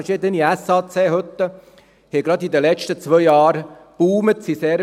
Verschiedene SAC-Hütten haben gerade in den letzten zwei Jahren einen Boom erlebt.